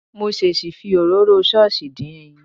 Mo ṣèṣì fi òróró ṣọ́ọ̀ṣì dín ẹyin.